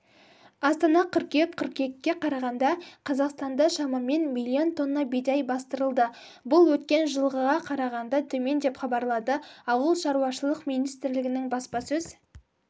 астана қыркүйек қыркүйекке қарағанда қазақстанда шамамен миллион тонна бидай бастырылды бұл өткен жылға қарағанда төмен деп хабарлады ауыл шаруашылық министрлігінің баспасөз